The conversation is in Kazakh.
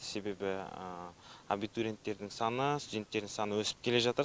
себебі абитуренттерің саны студенттердің саны өсіп келе жатыр